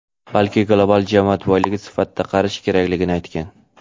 balki global jamoat boyligi sifatida qarash kerakligini aytgan..